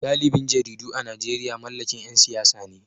Galibin jaridu a Najeriya mallakin ‘yan siyasa ne